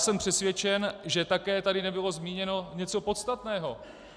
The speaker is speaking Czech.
Jsem přesvědčen, že také tady nebylo zmíněno něco podstatného.